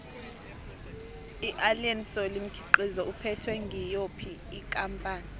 iallen solly mkhiqizo uphethwe ngiyophi ikampani